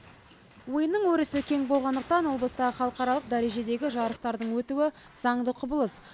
ойынның өрісі кең болғандықтан облыста халықаралық дәрежедегі жарыстардың өтуі заңды құбылыс